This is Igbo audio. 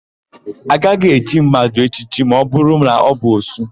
A gaghị echi mmadụ echichi ma ọbụrụ na ọ bụ òsú.